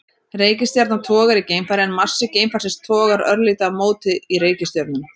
Reikistjarna togar í geimfarið en massi geimfarsins togar örlítið á móti í reikistjörnuna.